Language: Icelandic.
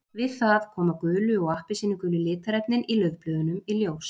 Við það koma gulu og appelsínugulu litarefnin í laufblöðunum í ljós.